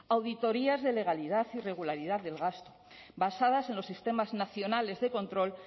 auditorías de legalidad y regularidad del gasto basadas en los sistemas nacionales de control